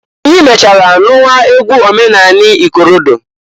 Anyị mechaara nụwa egwu omenanị ikorodo.